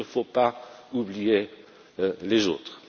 Il ne faut pas oublier les autres.